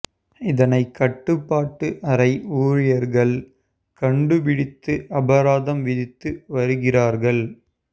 இதனை கட்டுப்பாட்டு அறை ஊழியர்கள் கண்டு பிடித்து அபராதம் விதித்து வருகிறார்கள்